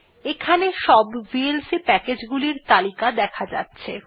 এখানে সব VLC package গুলির তালিকা দেখা যাচ্ছে